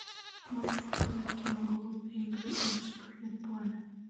можешь показать кино голодные игры и вспыхнет пламя